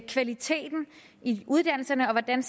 kvaliteten i uddannelserne og hvordan